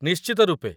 ନିଶ୍ଚିତ ରୂପେ।